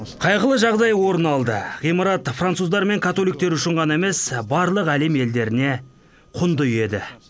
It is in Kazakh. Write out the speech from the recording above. қайғылы жағдай орын алды ғимарат француздар мен католиктер үшін ғана емес барлық әлем елдеріне құнды еді